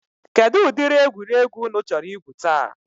Kedụ ụdịrị egwuregwu ụnụ chọrọ igwu taa?